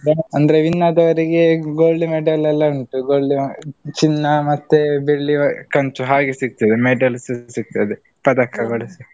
ಅಂದ್ರೆ win ಆದವರಿಗೆ gold medal ಎಲ್ಲಾ ಉಂಟು gold ಚಿನ್ನ ಮತ್ತೆ ಬೆಳ್ಳಿ, ಕಂಚು ಹಾಗೆ ಸಿಗ್ತದೆ medal ಸಿಗ್ತದೆ. ಪದಕಗಳು.